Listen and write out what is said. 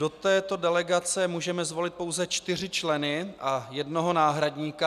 Do této delegace můžeme zvolit pouze čtyři členy a jednoho náhradníka.